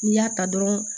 N'i y'a ta dɔrɔn